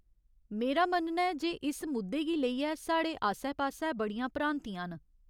मेरा मन्नना ऐ जे इस मुद्दे गी लेइयै साढ़े आस्सै पास्सै बड़ियां भ्रांतियां न।